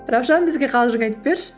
раушан бізге қалжың айтып берші